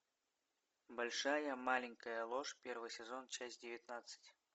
большая маленькая ложь первый сезон часть девятнадцать